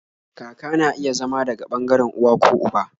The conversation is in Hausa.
Kaka na iya zama daga ɓangaren uwa ko uba